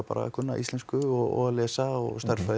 kunna íslensku og að lesa og stærðfræði